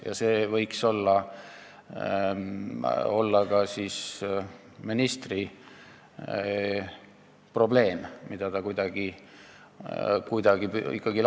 Ja see võiks olla ka ministri jaoks probleem, mida ta kuidagi lahendama peaks.